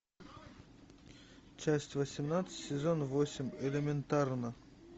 часть восемнадцать сезон восемь элементарно